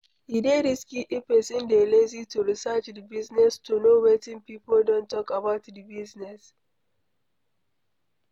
E dey risky if person dey lazy to research di business to know wetin pipo don talk about di business